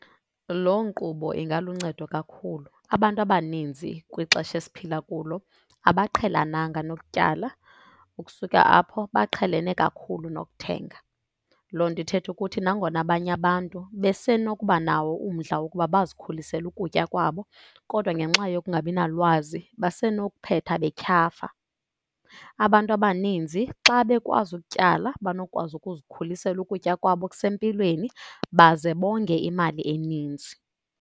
Loo nkqubo ingaluncedo kakhulu. Abantu abaninzi kwixesha esiphila kulo abaqhelananga nokutyala. Ukusuka apho, baqhelene kakhulu nokuthenga. Loo nto ithetha ukuthi nangona abanye abantu besenokuba nawo umdla wokuba bazikhulisele ukutya kwabo kodwa ngenxa yokungabi nalwazi, basenokuphetha betyhafa. Abantu abaninzi xa bekwazi ukutyala banokwazi ukuzikhulisela ukutya kwabo okusempilweni baze bonge imali eninzi.